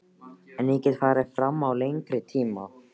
En ég get farið fram á lengri tíma.